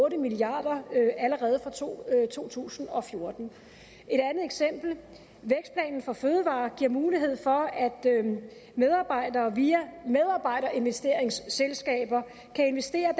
en milliard kroner allerede fra to tusind og fjorten et andet for fødevarer giver mulighed for at medarbejdere via medarbejderinvesteringsselskaber kan investere